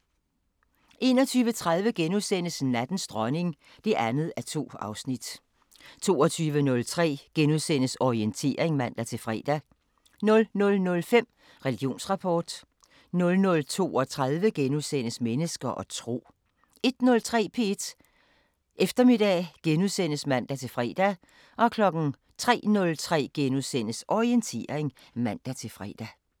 21:30: Nattens dronning (2:2)* 22:03: Orientering *(man-fre) 00:05: Religionsrapport 00:32: Mennesker og tro * 01:03: P1 Eftermiddag *(man-fre) 03:03: Orientering *(man-fre)